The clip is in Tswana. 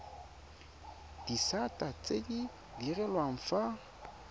disata tse di direlwang fa